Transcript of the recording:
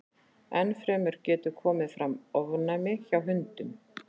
Enn fremur getur komið fram ofnæmi hjá hundum.